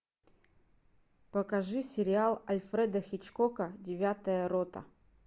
покажи сериал альфреда хичкока девятая рота